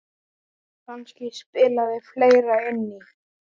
Kannski spilaði fleira inn í.